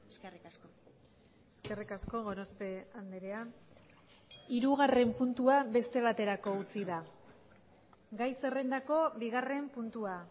eskerrik asko eskerrik asko gorospe andrea hirugarren puntua beste baterako utzi da gai zerrendako bigarren puntua